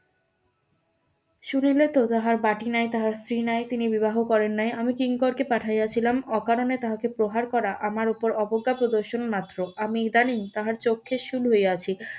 শুনিলে তো তাহার বাটি নাই তার স্ত্রী নাই তিনি বিবাহ করেন নাই আমি কিঙ্করকে পাঠিয়াছিলাম অকারনে তাহাকে প্রহার করা আমার ওপর অবজ্ঞা প্রদর্শন মাত্র আমি ইদানিং তাহার চোখে শুল হইয়াছি